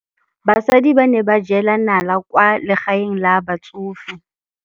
Basadi ba ne ba jela nala kwaa legaeng la batsofe.